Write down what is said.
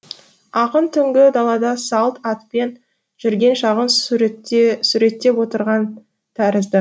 ақын түнгі далада салт атпен жүрген шағын суреттеп отырған тәрізді